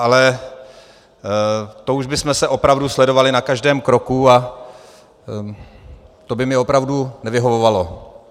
Ale to už bychom se opravdu sledovali na každém kroku a to by mi opravdu nevyhovovalo.